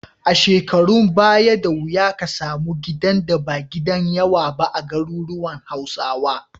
A shekarun baya, da wuya ka samu gidan da ba gidan yawa ba a garuruwan Hausawa.